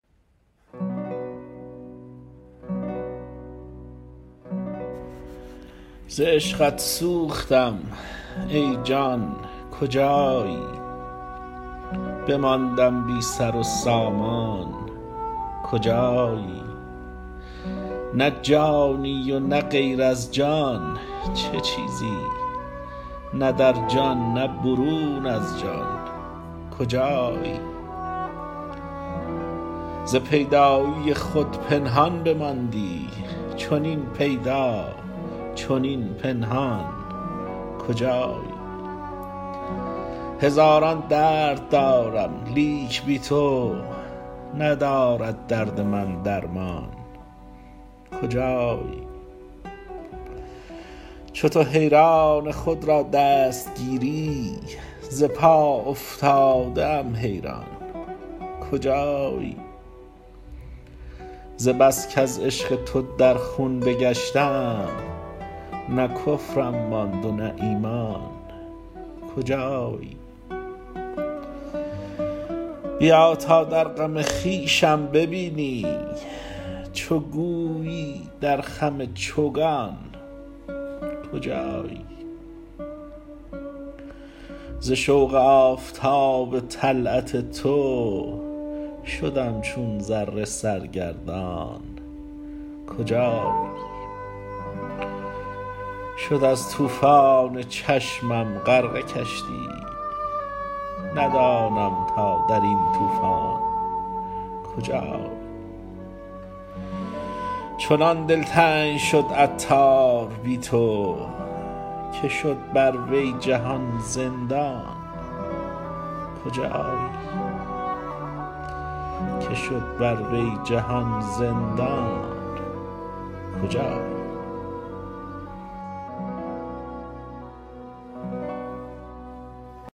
ز عشقت سوختم ای جان کجایی بماندم بی سر و سامان کجایی نه جانی و نه غیر از جان چه چیزی نه در جان نه برون از جان کجایی ز پیدایی خود پنهان بماندی چنین پیدا چنین پنهان کجایی هزاران درد دارم لیک بی تو ندارد درد من درمان کجایی چو تو حیران خود را دست گیری ز پا افتاده ام حیران کجایی ز بس کز عشق تو در خون بگشتم نه کفرم ماند و نه ایمان کجایی بیا تا در غم خویشم ببینی چو گویی در خم چوگان کجایی ز شوق آفتاب طلعت تو شدم چون ذره سرگردان کجایی شد از طوفان چشمم غرقه کشتی ندانم تا درین طوفان کجایی چنان دلتنگ شد عطار بی تو که شد بر وی جهان زندان کجایی